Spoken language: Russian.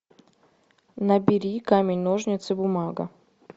набери камень ножницы бумага